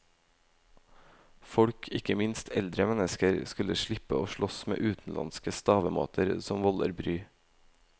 Folk, ikke minst eldre mennesker, skulle få slippe å slåss med utenlandske stavemåter som volder bry.